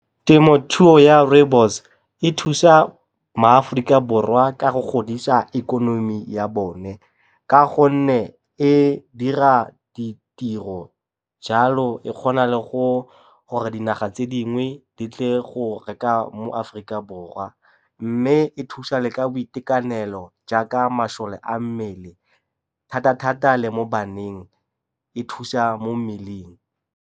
Temothuo ya rooibos e thusa maAforika Borwa ka go godisa ikonomi ya bone ka gonne e dira ditiro jalo e kgona le gore dinaga tse dingwe di tle go reka mo Aforika Borwa. Mme e thusa le ka boitekanelo jaaka masole a mmele thata-thata le mo baneng e thusa mo mmeleng.